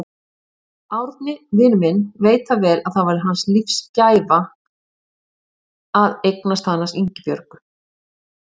Árni, vinur minn, veit það vel að það var lífsgæfa hans að eignast hana Ingibjörgu.